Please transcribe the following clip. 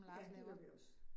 Ja, det gør vi også